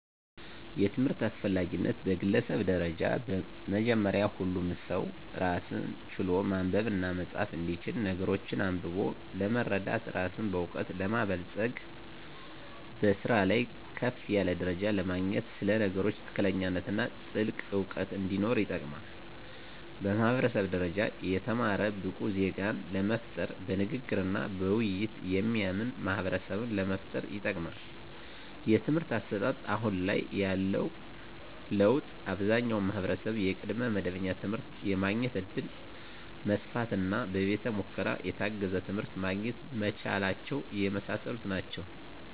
የትምህርት አስፈላጊነት በግለሰብ ደረጃ በመጀመሪያ ሁሉም ሰው ራስን ችሎ ማንበብና መፃፍ እንዲችል ነገሮችን አንብቦ ለመረዳት ራስን በእውቀት ለማበልፀግ በስራ ላይ ከፍ ያለ ደረጃ ለማግኘት ስለ ነገሮች ትክክለኛነትና ጥልቅ እውቀት እንዲኖር ይጠቅማል። በማህበረሰብ ደረጃ የተማረ ብቁ ዜጋን ለመፍጠር በንግግርና በውይይት የሚያምን ማህበረሰብን ለመፍጠር ይጠቅማል። የትምህርት አሰጣጥ አሁን ላይ ያለው ለውጥ አብዛኛው ማህበረሰብ የቅድመ መደበኛ ትምህርት የማግኘት እድል መስፋፋትና በቤተ ሙከራ የታገዘ ትምህርት ማግኘት መቻላቸው የመሳሰሉት ናቸው።